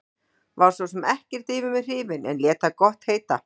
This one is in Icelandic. Var svo sem ekkert yfir mig hrifinn en lét það gott heita.